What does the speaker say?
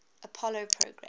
apollo program